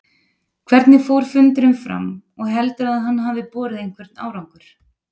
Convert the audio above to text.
Hvernig fór fundurinn fram og heldurðu að hann hafi borið einhvern árangur?